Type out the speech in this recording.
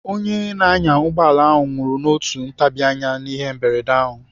Onye na-anya ụgbọala ahụ nwụrụ n'otu ntabianya n'ihe mberede ahụ.